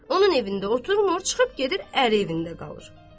Onun evində otmur, çıxıb gedir ər evində qalır.